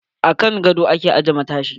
A kan godo a ke aje matashi.